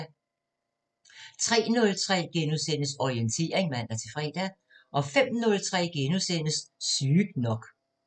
03:03: Orientering *(man-fre) 05:03: Sygt nok *